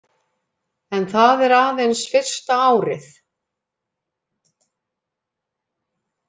En það er aðeins fyrsta árið